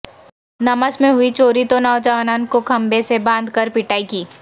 نمس میں ہوئی چوری تو نوجوانن کو کھمبے سے باندھ کر پٹائی کی